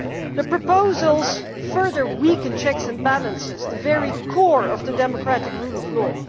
The proposals further weaken checks and balances, the very core of the democratic rule of law.